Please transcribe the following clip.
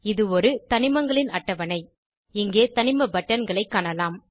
இது ஒரு தனிமங்களின் அட்டவணை இங்கே தனிம பட்டன்களை காணலாம்